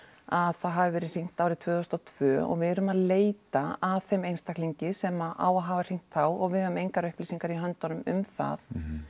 að það hafi verið hringt árið tvö þúsund og tvö og við erum að leita að þeim einstaklingi sem á að hafa hringt þá og við höfum engar upplýsingar í höndunum um það